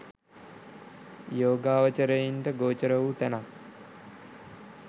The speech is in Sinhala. යෝගාවචරයින්ට ගෝචර වූ තැනක්